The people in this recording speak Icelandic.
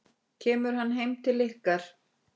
Kemur hann heim til ykkar?